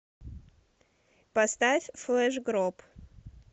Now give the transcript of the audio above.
поставь флешгроб